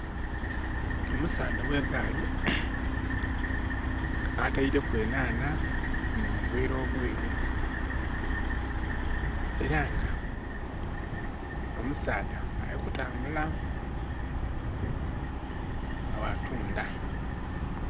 Omusaadha owe gaali ataireku enhanha mu buveera obweru era nga omusaadha ali kutambula wa tunda